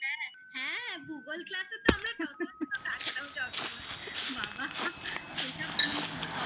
হ্যাঁ হ্যাঁ ভূগোল ক্লাসে তো আমরা টোটোস তো থাকতাম সবসময় বাবা সেসব দিন ছিল